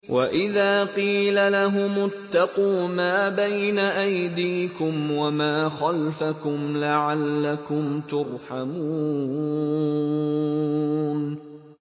وَإِذَا قِيلَ لَهُمُ اتَّقُوا مَا بَيْنَ أَيْدِيكُمْ وَمَا خَلْفَكُمْ لَعَلَّكُمْ تُرْحَمُونَ